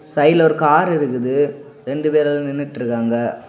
சைடுல ஒரு கார் இருக்குது ரெண்டு பேரு அதுல நின்னுட்ருக்காங்க.